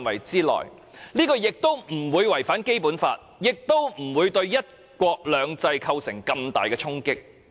這樣既不會違反《基本法》，亦不會對"一國兩制"造成重大衝擊。